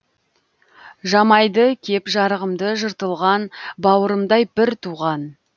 жамайды кеп жарығымды жыртылған бауырымдай бір туған